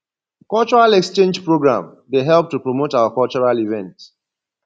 cultural exchange program dey help to promote our cultural events